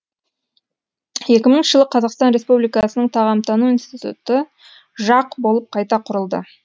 екі мыңыншы жылы қазақстан республикасының тағамтану институты жақ болып қайта құрылды